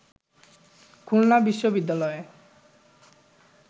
খুলনা বিশ্ববিদ্যালয়ে